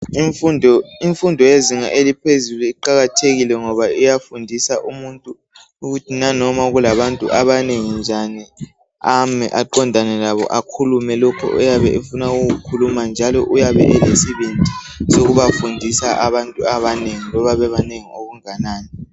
Imfundo yezinga eliphezulu iqakathekile ngoba iyafundisa umuntu ukuthi nanoma kulabantu abanengi njani ame aqondane labo akhulume lokho oyabe efuna ukukukhuluma njalo uyabe elesibindi sokubafundisa abantu abanengi loba bebanengi okunganani.